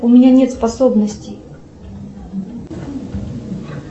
у меня нет способностей